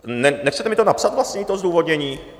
Nechcete mi to napsat vlastně, to zdůvodnění?